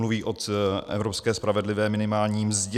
Mluví o evropské spravedlivé minimální mzdě.